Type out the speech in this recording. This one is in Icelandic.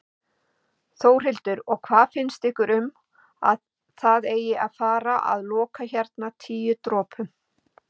Þórhildur: Og hvað finnst ykkur um að það eigi að fara loka hérna Tíu dropum?